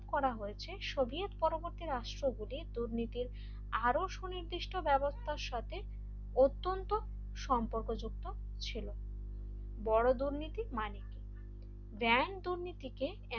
করা হয়েছে সোভিয়েত পরবর্তী রাষ্ট্রগুলি দুর্নীতির আরো সুনির্দিষ্ট ব্যবস্থার সাথে অত্যন্ত সম্পর্কযুক্ত ছিল বড় দুর্নীতি মানে কি গ্র্যান্ড দুর্নীতিকে